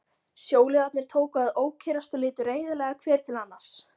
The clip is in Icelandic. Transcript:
Sjóliðarnir tóku að ókyrrast og litu reiðilega hver til annars.